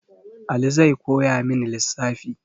Ali zai koyamin lissafi